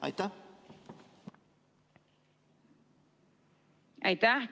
Aitäh!